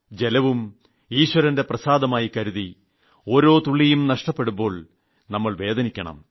ജലവും ഈശ്വരന്റെ പ്രസാദമായി കരുതി ഓരോ തുള്ളിയും നഷ്ടപ്പെടുമ്പോൾ നാം വേദനിക്കണം